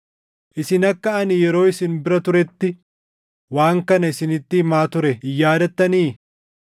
Isin akka ani yeroo isin bira turetti waan kana isinitti himaa ture hin yaadattanii?